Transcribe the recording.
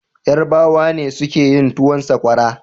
Yarbawa ne suka yin towun Sakwara.